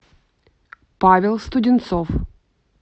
павел студенцов